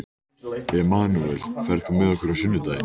Emanúel, ferð þú með okkur á sunnudaginn?